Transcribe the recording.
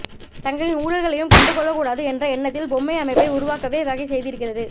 தங்களின் ஊழல்களையும் கண்டு கொள்ளக்கூடாது என்ற எண்ணத்தில் பொம்மை அமைப்பை உருவாக்கவே வகை செய்திருக்கிறது